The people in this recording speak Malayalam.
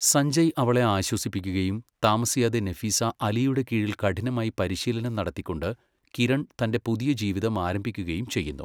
സഞ്ജയ് അവളെ ആശ്വസിപ്പിക്കുകയും താമസിയാതെ നഫീസ അലിയുടെ കീഴിൽ കഠിനമായി പരിശീലനം നടത്തികൊണ്ട് കിരൺ തൻ്റെ പുതിയ ജീവിതം ആരംഭിക്കുകയും ചെയ്യുന്നു.